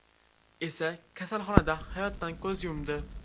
esa kasalxonada hayotdan ko‘z yumdi.